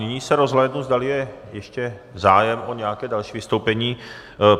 Nyní se rozhlédnu, zdali je ještě zájem o nějaké další vystoupení.